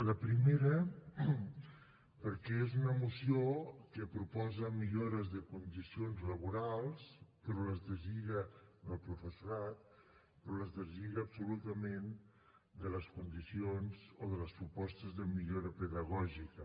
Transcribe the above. la primera perquè és una moció que proposa millores de condicions laborals però les deslliga del professorat però les deslliga absolutament de les condicions o de les propostes de millora pedagògica